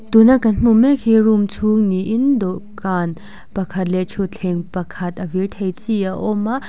tuna kan hmu mek hi room chhung niin dawhkan pakhat leh thutthleng pakhat a vir thei chi a awm a.